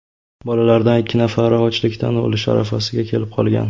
Bolalardan ikki nafari ochlikdan o‘lish arafasiga kelib qolgan”.